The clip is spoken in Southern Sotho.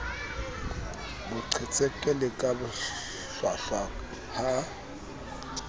boqhetseke le ka bohlwahlwa ha